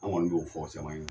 Anw kɔni y'o fɔ caman ɲɛna.